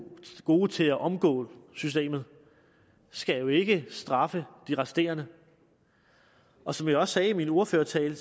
gode til at omgå systemet skal jo ikke straffe de resterende og som jeg også sagde i min ordførertale